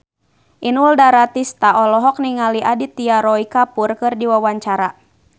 Inul Daratista olohok ningali Aditya Roy Kapoor keur diwawancara